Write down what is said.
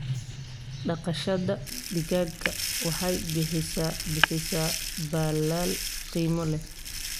Dhaqashada digaaga waxay bixisaa baalal qiimo leh.